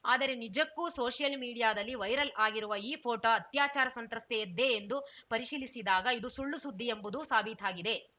ಆದರೆ ನಿಜಕ್ಕೂ ಸೋಷಿಯಲ್‌ ಮೀಡಿಯಾದಲ್ಲಿ ವೈರಲ್‌ ಆಗಿರುವ ಈ ಫೋಟೋ ಅತ್ಯಾಚಾರ ಸಂತ್ರಸ್ತೆಯದ್ದೇ ಎಂದು ಪರಿಶೀಲಿಸಿದಾಗ ಇದು ಸುಳ್ಳು ಸುದ್ದಿ ಎಂಬುದು ಸಾಬೀತಾಗಿದೆ